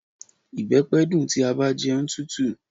Ìbẹpẹ dun ti a ba jẹun tutu.